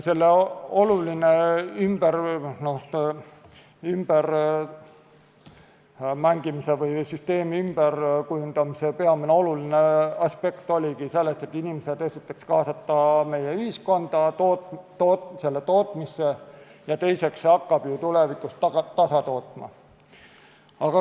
Selle ümbermängimise või süsteemi ümberkujundamise peamine aspekt oligi selles, et inimesi esiteks kaasata ühiskonda, tootmisse, ja teiseks hakkab see ju tulevikus ennast tasa tootma.